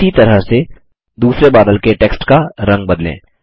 इसी तरह से दूसरे बादल के टेक्स्ट का रंग बदलें